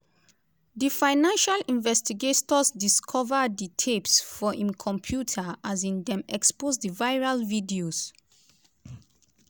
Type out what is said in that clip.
di financial investigators discover di tapes for im computer um dem expose di viral videos.